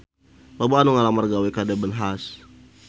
Loba anu ngalamar gawe ka Debenhams